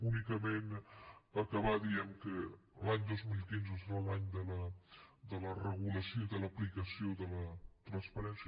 únicament acabar dient que l’any dos mil quinze serà l’any de la regulació i de l’aplicació de la transparència